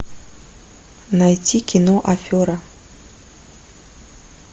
найти кино афера